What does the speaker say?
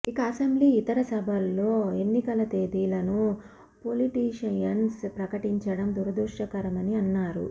ఇక అసెంబ్లీ ఇతర సభలో ఎన్నికల తేదీలను పొలిటీషియన్స్ ప్రకటించడం దురదృష్టకరమని అన్నారు